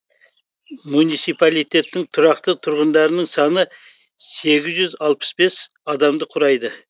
муниципалитеттің тұрақты тұрғындарының саны сегіз жүз алпыс бес адамды құрайды